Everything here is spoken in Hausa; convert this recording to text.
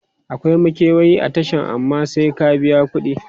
e akwai makewayi a Tashan amma sai ka biya kudi